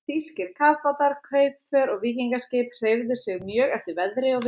Þýskir kafbátar, kaupför og víkingaskip hreyfðu sig mjög eftir veðri og vindum.